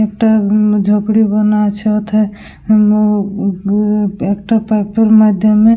একটা উম ঝুপড়ি বানা আছে ওতে ও ও-ও একটা পাতার মাধ্যমে--